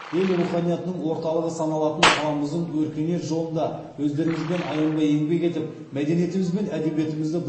ел руханиятының орталығы саналатын қаламыздың өркениет жолында өздеріңізбен аянбай еңбек етіп мәдениетіміз бен әдебиетімізді